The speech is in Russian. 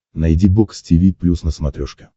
найди бокс тиви плюс на смотрешке